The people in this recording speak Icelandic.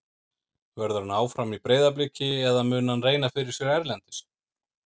Verður hann áfram í Breiðabliki eða mun hann reyna fyrir sér erlendis?